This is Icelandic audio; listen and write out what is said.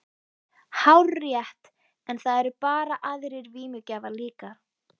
Hárrétt, en það eru bara aðrir vímugjafar líka.